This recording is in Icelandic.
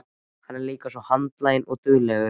Hann er líka svo handlaginn og duglegur.